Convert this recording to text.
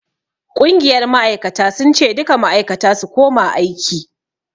Ƙungiyar ma'aikata sun ce 'Duka ma'aikata su koma aiki'!